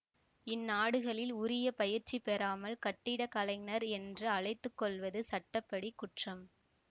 இந்நாடுகளில் உரிய பயிற்சி பெறாமல் கட்டிடக்கலைஞர் என்று அழைத்துக்கொள்வது சட்ட படி குற்றம்